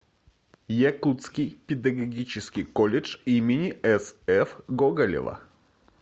якутский педагогический колледж им сф гоголева